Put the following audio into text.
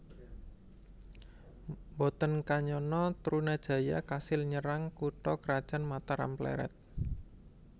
Mboten kanyana Trunajaya kasil nyerang kutha krajan Mataram Plered